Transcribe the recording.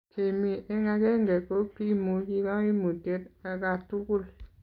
kemi eng' akenge ko kimuchi kaimutiet akatugul